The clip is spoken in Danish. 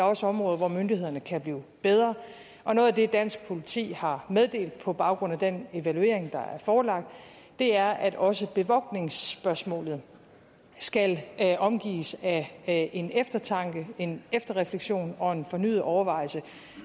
også områder hvor myndighederne kan blive bedre og noget af det dansk politi har meddelt på baggrund af den evaluering der er forelagt er at også bevogtningsspørgsmålet skal omgives af en eftertanke en efterrefleksion og en fornyet overvejelse